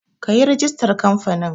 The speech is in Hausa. Kayi rigistar kamfanin